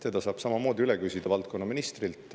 Seda saab samamoodi üle küsida valdkonnaministrilt.